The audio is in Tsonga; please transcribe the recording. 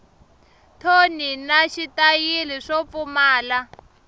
thoni na xitayili swo pfumala